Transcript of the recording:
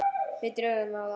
Við drögum á þá.